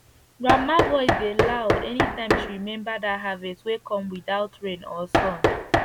grandma voice dey loud any time she remember that harvest wey come without rain or sun